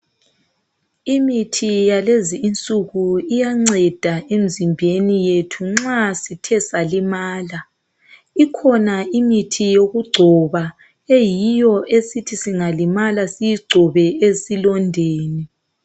Imithi yalezi insuku iyanceda emzimbeni yethu nxa sithe salimala ikhona imithi yokugcoba eyiyo esithi singalimala siyigcobe esilondeni.